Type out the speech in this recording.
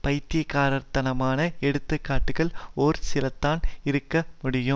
பைத்தியக்காரத்தனமான எடுத்து காட்டுகள் ஒரு சிலதான் இருக்க முடியும்